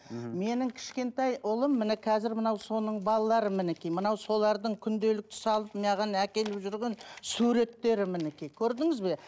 мхм менің кішкентай ұлым міне қазір мынау соның балалары мінекей мынау солардың күнделікті салып маған әкеліп жүрген суреттері мінекей көрдіңіз бе